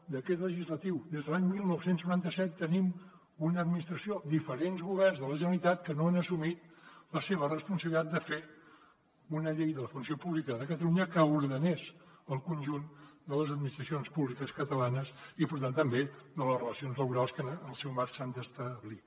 decret legislatiu des de l’any dinou noranta set tenim una administració diferents governs de la generalitat que no han assumit la seva responsabilitat de fer una llei de la funció pública de catalunya que ordenés el conjunt de les administracions públiques catalanes i per tant també de les relacions laborals que en el seu marc s’han d’establir